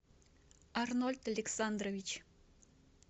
арнольд александрович